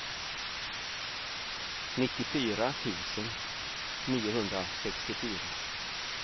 nittiofyra tusen niohundrasextiofyra